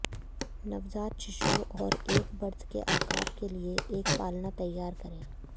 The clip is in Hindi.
नवजात शिशुओं और एक बर्थ के आकार के लिए एक पालना तैयार करें